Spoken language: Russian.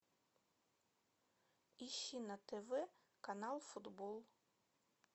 ищи на тв канал футбол